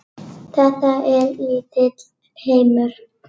Þetta er lítill heimur.